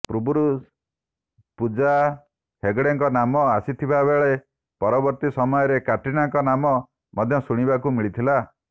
ପୂର୍ବରୁ ପୂଜା ହେଗେଡ୍ଙ୍କ ନାମ ଆସିଥିବାବେଳେ ପରବର୍ତ୍ତୀ ସମୟରେ କ୍ୟାଟ୍ରିନାଙ୍କ ନାମ ମଧ୍ୟ ଶୁଣିବାକୁ ମିଳିଥିଲା